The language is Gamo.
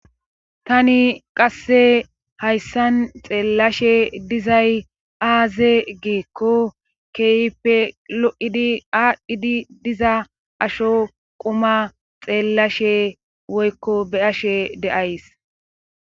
tani qasse hayssan xeellashe dizay aaze geekko keyipe lo7idi aadhdhidi diza asho quma xeellashe woykko b'ashe de'ays